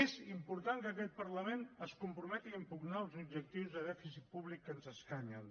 és important que aquest parlament es comprometi a impugnar els objectius de dèficit públic que ens escanyen